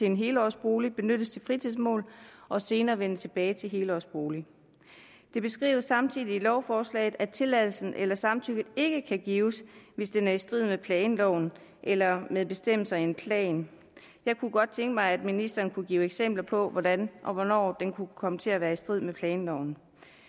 en helårsbolig benyttes til fritidsformål og senere vender tilbage til helårsbolig det beskrives samtidig i lovforslaget at tilladelsen eller samtykket ikke kan gives hvis det er i strid med planloven eller med bestemmelserne i en plan jeg kunne godt tænke mig at ministeren kunne give eksempler på hvordan og hvornår den kunne komme til at være i strid med planloven